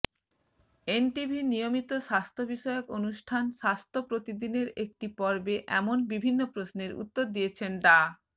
এনটিভির নিয়মিত স্বাস্থ্যবিষয়ক অনুষ্ঠান স্বাস্থ্য প্রতিদিনের একটি পর্বে এমন বিভিন্ন প্রশ্নের উত্তর দিয়েছেন ডা